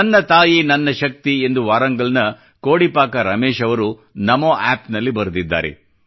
ನನ್ನ ತಾಯಿ ನನ್ನ ಶಕ್ತಿ ಎಂದು ವಾರಂಗಲ್ ನ ಕೋಡಿಪಾಕ ರಮೇಶ್ ಅವರು ನಮೋ ಆಪ್ ನಲ್ಲಿ ಬರೆದಿದ್ದಾರೆ